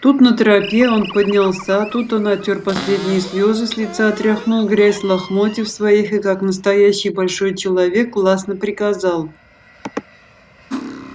тут на тропе он поднялся тут он отёр последние слёзы с лица отряхнул грязь с лохмотьев своих и как настоящий большой человек властно приказал